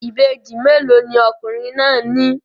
Ìbejì mélòó ni ọkùnrin náà ní?